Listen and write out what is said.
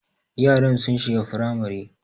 Yaran sun shiga firamare